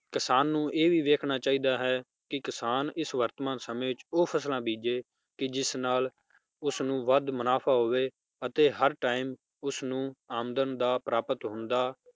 ਕਿਸਾਨ ਨੂੰ ਇਹ ਵੀ ਵੇਖਣਾ ਚਾਹੀਦਾ ਹੈ ਕਿ ਕਿਸਾਨ ਇਸ ਵਰਤਮਾਨ ਸਮੇ ਵਿਚ ਉਹ ਫਸਲਾਂ ਬੀਜੇ ਜਿਸ ਨਾਲ ਉਸਨੂੰ ਵੱਧ ਮੁਨਾਫ਼ਾ ਹੋਵੇ ਅਤੇ ਹਰ time ਉਸਨੂੰ ਆਮਦਨ ਦਾ ਪ੍ਰਾਪਤ ਹੁੰਦਾ